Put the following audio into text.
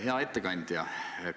Hea ettekandja!